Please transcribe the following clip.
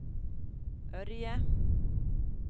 Ørje